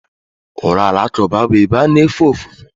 Ụlọ alakụba bụ ebe a na-anọ efe ofufe.